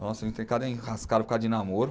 Nossa, eu entrei em cada enrascada por causa de namoro.